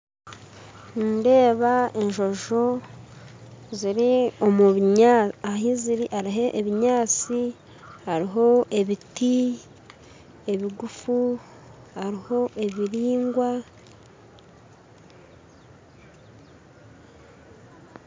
Nindeba enjojo ahiziri hariho ebinyasi, hariho ebiti, ebiguffu, hariho ebiringwa.